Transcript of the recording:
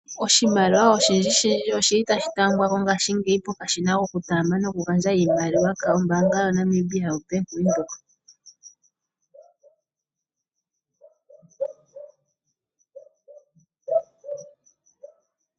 Oshimaliwa oshindji shindji oshili tashi tambwa ko ngashingeyi pokashina kokutaamba nokugandja iimaliwa kombaanga yaNamibia Bank Windhoek.